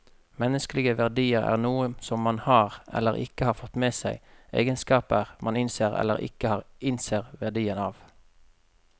Menneskelige verdier er noe som man har, eller ikke har fått med seg, egenskaper man innser eller ikke innser verdien av.